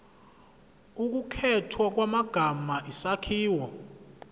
ukukhethwa kwamagama isakhiwo